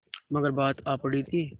मगर बात आ पड़ी थी